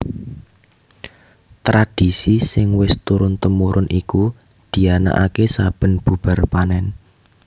Tradhisi sing wis turun tumurun iku dianakaké saben bubar panèn